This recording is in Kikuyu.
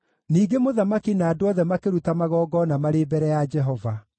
Ningĩ mũthamaki na andũ othe makĩruta magongona marĩ mbere ya Jehova.